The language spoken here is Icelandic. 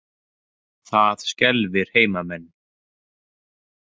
Það skelfir heimamenn.